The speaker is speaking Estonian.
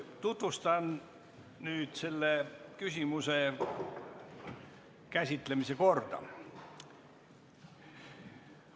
Tutvustan nüüd selle küsimuse käsitlemise korda.